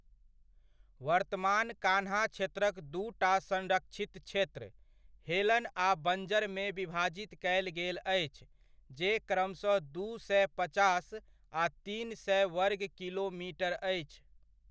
वर्तमान कान्हा क्षेत्रक दूटा संरक्षित क्षेत्र, हेलन आ बञ्जरमे विभाजित कयल गेल अछि, जे क्रमशः दू सए पचास आ तीन सए वर्ग किलोमीटर अछि।